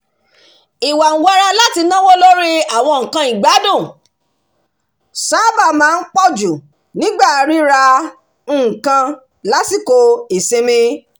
ìwàǹwara láti náwó lórí àwọn nǹkan ìgbádùn sábà máa ń pọ̀jù nígbà ríra-nǹkan lásìkò ìsinmi